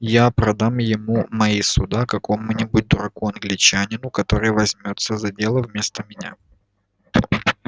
я продам ему мои суда какому-нибудь дураку-англичанину который возьмётся за дело вместо меня